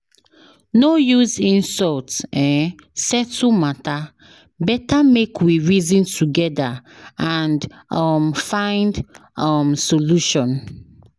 No use insult um settle matter, better make we reason together and um find um solution.